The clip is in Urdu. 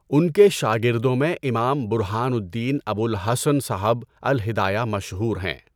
ان کے شاگردوں میں امام برہان الدین ابو الحسن صاحب الہدایہ مشہور ہیں۔